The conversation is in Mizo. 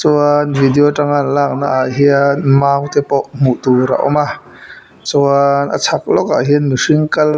chuan video tanga an lakna ah hian mau tepawh hmuh tur a awm a chuan a chhak lawkah hian mihring kal--